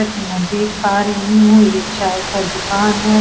जो कि मैं देखो पा रही हूँ ये चाय का दुकान है।